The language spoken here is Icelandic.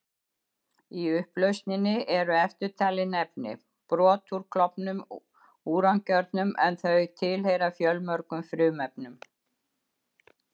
Í upplausninni eru eftirtalin efni: Brot úr klofnum úrankjörnum, en þau tilheyra fjölmörgum frumefnum.